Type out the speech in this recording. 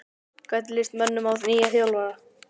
Hvernig lýst mönnum á nýjan þjálfara?